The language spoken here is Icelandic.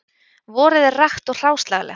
Vorið er rakt og hráslagalegt